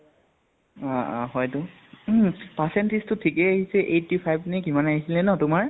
অ অ হয়্তো percentage টো থিকে আহিলে eighty five নে কিমান আহিছিলে ন তোমাৰ?